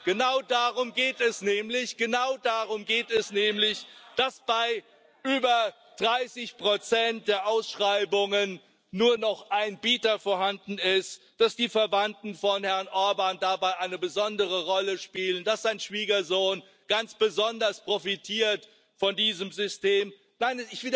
Genau darum geht es nämlich, dass bei über 30 der Ausschreibungen nur noch ein Bieter vorhanden ist, dass die Verwandten von Herrn Orbán dabei eine besondere Rolle spielen, dass sein Schwiegersohn ganz besonders von diesem System profitiert.